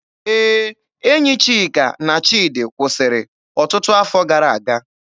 Ee, enyi Chika na Chidi kwụsịrị ọtụtụ afọ gara aga